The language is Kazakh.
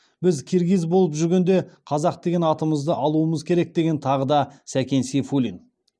біз киргиз болып жүргенде қазақ деген атымызды алуымыз керек деген тағы да сәкен сейфуллин